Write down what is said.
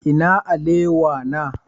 Ina alewa na?